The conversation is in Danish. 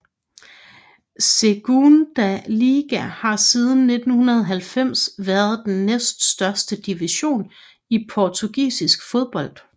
Segunda Liga har siden 1990 været den den næstøverste division i portugisisk fodbold